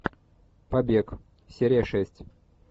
побег серия шесть